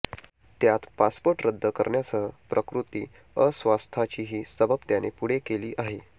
त्यात पासपोर्ट रद्द करण्यासह प्रकृती अस्वास्थाचीही सबब त्याने पुढे केली आहे